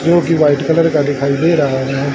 जो कि white colour का दिखाई दे रहा है।